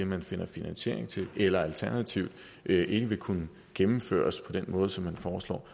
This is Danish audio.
man finder finansiering til eller som alternativt ikke vil kunne gennemføres på den måde som man foreslår